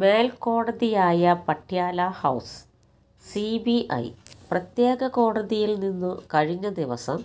മേൽക്കോടതിയായ Patiala House CBI പ്രത്യേക കോടതിയിൽ നിന്നു കഴിഞ്ഞ ദിവസം